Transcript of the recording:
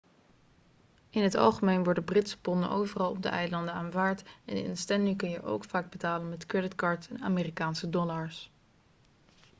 in het algemeen worden britse ponden overal op de eilanden aanvaard en in stanley kun je ook vaak betalen met creditcards en amerikaanse dollars